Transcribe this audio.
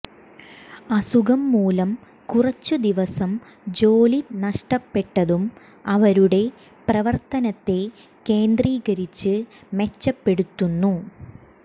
അസുഖം മൂലം കുറച്ചു ദിവസം ജോലി നഷ്ടപ്പെട്ടതും അവരുടെ പ്രവർത്തനത്തെ കേന്ദ്രീകരിച്ച് മെച്ചപ്പെടുത്തുന്നു